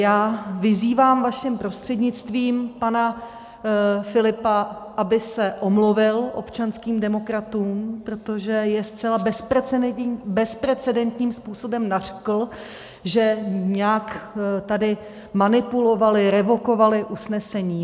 Já vyzývám vaším prostřednictvím pana Filipa, aby se omluvil občanským demokratům, protože je zcela bezprecedentním způsobem nařkl, že nějak tady manipulovali, revokovali usnesení.